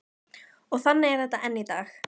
Og þannig er þetta enn í dag.